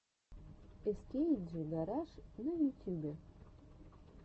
эскейджи гараж на ютюбе